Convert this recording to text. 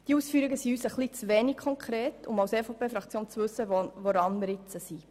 Die Ausführungen sind der EVP-Fraktion etwas zu wenig konkret, um zu wissen, woran wir sind.